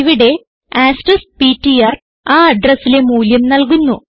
ഇവിടെ asterisk PTR ആ അഡ്രസിലെ മൂല്യം നല്കുന്നു